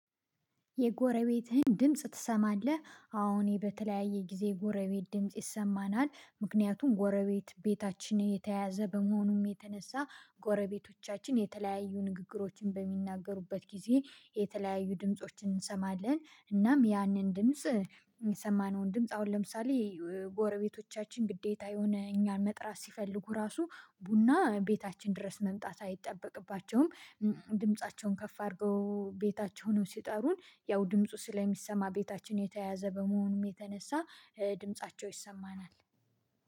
የጎረቤትህን ድምጽ ትሰማለህ? አወእኔ በተለያየ ጊዜ የጎረቤት ድምጽ ይሰማናል ምክንያቱም ጎረቤት ቤታችን የተያዘ በመሆኑም የተነሳ ጎረቤቶቻችን የተለያዩ ንግግሮችን በሚናገሩበት ጊዜ የተለያዩ ድምፆችን እንሰማለን እናም ያንን ድምጽ የሰማነውን ድምጽ አሁን ለምሳሌ ጎረቤቶቻችን ግዴታ የሆነ እኛን መጥራት ሲፈልጉ ራሱ ቡና ቤታችን ድረስ መምጣት አይጠበቅባቸውም። ድምፃቸውን ከፍ አድርገው ቤታቸው ሆነው ሲጠሩን ያው ድምፁ ስለሚሰማ ቤታችን የተያዘ በመሆኑም የተነሳ ድምፃቸው ይሰማናል።